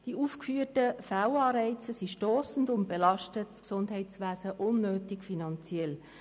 Die aufgeführten Fehlanreize sind stossend und belasten das Gesundheitswesen unnötig finanziell.